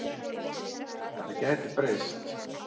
Þetta gæti breyst.